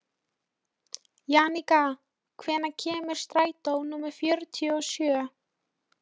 Jannika, hvenær kemur strætó númer fjörutíu og sjö?